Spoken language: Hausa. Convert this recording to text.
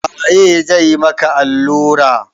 Waye zai maka allura?